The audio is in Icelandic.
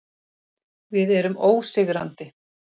Við erum ósigrandi.